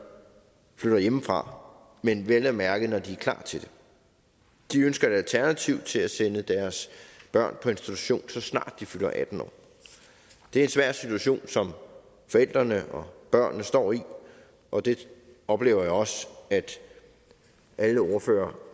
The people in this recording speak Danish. før hjemmefra men vel at mærke når de er klar til det og de ønsker et alternativ til at sende deres børn på institution så snart de fylder atten år det er en svær situation som forældrene og børnene står i og det oplever jeg også at alle ordførere